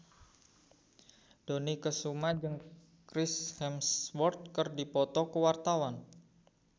Dony Kesuma jeung Chris Hemsworth keur dipoto ku wartawan